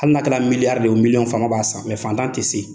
Hali n'a kɛra miliyari de miliyɔn, fama b'a san mɛ fantan tɛ se.